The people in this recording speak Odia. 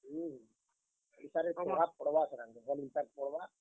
ହୁଁ, ଓଡିଶାରେ ପ୍ରଭାବ୍ ପଡ୍ ବା ଇତାର୍ ଆଗ୍ କେ ଭଲ impact ପଡ୍ ବା।